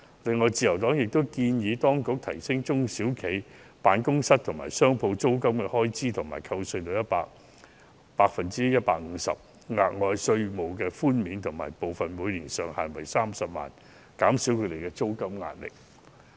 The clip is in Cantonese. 另外，自由黨亦建議當局提高中小企辦公室和商鋪租金的開支扣稅至 150%， 額外稅務寬免部分每年上限為30萬元，以減低他們的租金壓力。